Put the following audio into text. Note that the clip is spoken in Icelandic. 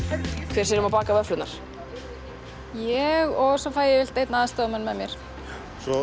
hver sér um að baka vöfflurnar ég og svo fæ ég yfirleitt einn aðstoðarmanna með mér